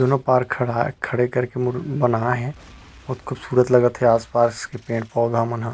दोनों पार्क खड़े-खड़े कर के बनाये है बहुत खूबसूरत लगत है आस-पास के पेड़ पौधा मन ह।